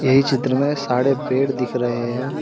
इ चित्र में सारे पेड़ दिख रहे हैं।